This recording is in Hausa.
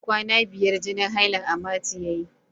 Kwana biyar jinin hailan amatu yayi.